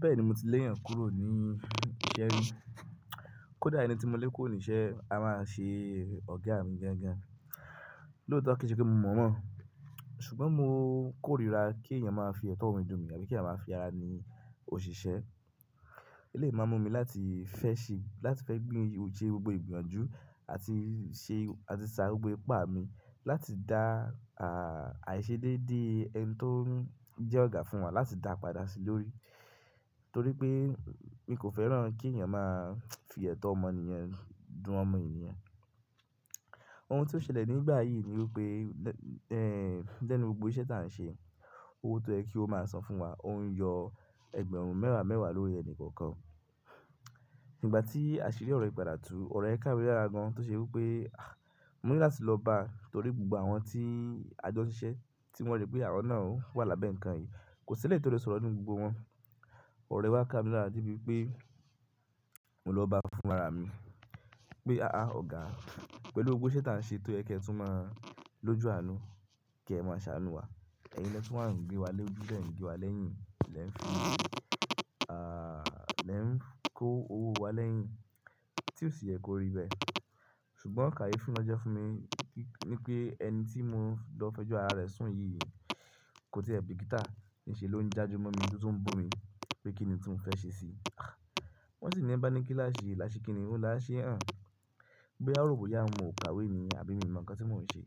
Bẹ́ẹ̀ni, mo ti léèyàn kúrò ní iṣẹ́ mi. Kódà ẹni tí mo lé kúrò níṣẹ́ a máa ṣe ọ̀gá mi gan gan. Lóòótọ́ kí ṣe kí mo mọ̀ mọ̀. Ṣùgbọ́n mo kórìíra kí èèyàn máa fi ẹ̀tọ́ ọmọ nìyẹn dùn ọmọ ènìyàn. Elèyi máa mú mi láti fẹ́ ṣe, láti fẹ́ gbé ojú ẹ gbogbo ìgbọ̀yàn jù àti ṣe, àti sá gbogbo ipá mi láti dá, àìṣedédé ẹni tó ń jẹ́ ọ̀gá fún wa láti dá padà sí lórí. Torí pé mi kò fẹ́ràn kí èèyàn máa fi ẹ̀tọ́ ọmọ ènìyàn dùn ọmọ ènìyàn. Ohun tó ṣẹlẹ̀ nígbà yìí ni wípé, ẹ́, lẹ́nu gbogbo iṣẹ́ táà ń ṣe, owó tó ń ẹ kí ó máa san fún wa ó ń yọ ẹgbẹ̀rún mẹ́wàá mẹ́wàá lórí ẹni kọ̀ọ̀kan. Nígbà tí àṣírí ọ̀rọ̀ ìgbàdà tu, ọ̀rọ̀ ẹ kámé lára gan tó ṣe wípé, mò ńi láti lọ bá a torí gbogbo àwọn tí a jọ ṣiṣẹ́ tí wọ́n rí pé àwọn náà wà lábẹ́ nǹkan yìí kò sí ẹ́lẹ̀yi tí ó lè sọ̀rọ̀ ní gbogbo wọn. Ọ̀ro yen wa ká mi lára de bí pé mò ń lọ bá a fún rárá mi. Pé "àá ọ̀gá, pẹ̀lú gbogbo iṣẹ́ táà ń ṣe tó yẹ kí ẹ tún máa lójo àánú kí ẹ máa ṣàánú wa. Ẹ̀yin lẹ́ tún máa ń gbé wa lójú, lẹ́ ń gbé wa lẹ́yìn, lẹ́ ń fi, àà, lẹ́ ń kó owó wa lẹ́yìn tí ó sì yẹ kó rí bẹ́ẹ̀." Ṣùgbọ́n kàyé fi wọn jẹ́ fún mi pé ẹni tí mò ń lọ fẹjú ara rẹ̀ sùn yìí kò tí ẹ̀ bí kítá ní ṣe ló ń já ju ọmọ mi tó tún bú mi pé kíni tí mò ń fẹ́ ṣe sí i. Wọ́n sì ẹni bá ní kíláàsì, láṣẹ kíni, ó láṣẹ hàn. No ọ̀rọ̀ bó yá wun ò kàwé ni, àbí mi mọ̀ ǹkan tí mò ń ṣe.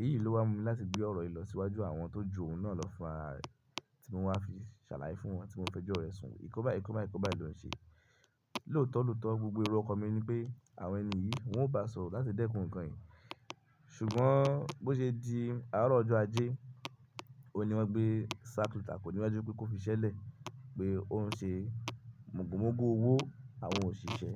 Èyí ló wá mú mi láti gbé ọ̀rọ̀ yìí lọ síwájú àwọn tó jù òun náà lọ fún ara rẹ̀ tí mò ń wá fi ṣàlàyé fún wọn tí mò ń fẹjú ọ̀rẹ́ sùn. Ǹkan báyì ǹkan báyì ǹkan báyì ló ń ṣe. Lóòótọ́ lóòótọ́ gbogbo èrò ọkàn mi ni pé àwọn ènìyí wọn ò bá sọ̀rọ̀ láti dẹ́kun ǹkan yìí. Ṣùgbọ́n bó ṣe di àárọ̀ ọjọ́ ajé, òun ni wọ́n gbé sák lẹ́tà kòníwájú pé kó fi ṣẹ́lẹ̀ pé òun ń ṣe mògo mògo owó àwọn òṣìṣẹ́.